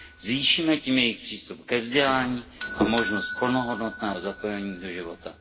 Zvýšíme tím jejich přístup ke vzdělání a možnost plnohodnotného zapojení do života.